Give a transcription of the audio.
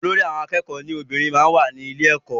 Olórí àwọn akẹ́kọ̀ọ́ lóbìnrin máa ń wà ní ilé ẹkọ.